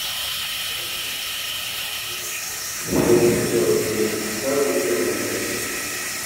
to just dey notice how i dey feel make i no de judge myself dey help me clear my head